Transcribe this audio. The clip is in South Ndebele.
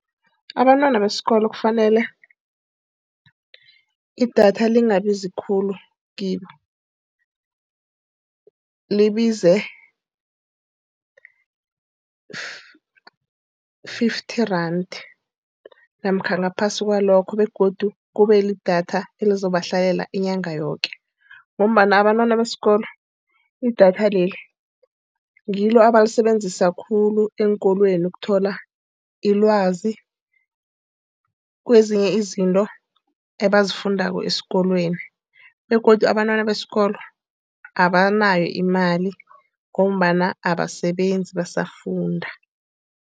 Abantwana besikolo kufanele idatha lingabizi khulu kibo. Libize fifty rand namkha ngaphasi kwalokho. Begodu kube lidatha elizomhlalela inyanga yoke, ngombana abantwana besikolo idatha leli ngilo abalisebenzisa khulu eenkolweni ukuthola ilwazi kwezinye izinto abazifundako esikolweni. Begodu abantwana besikolo abanayo imali ngombana abasebenzi basafunda.